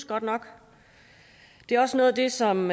godt nok det er også noget af det som